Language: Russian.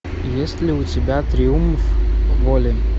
есть ли у тебя триумф воли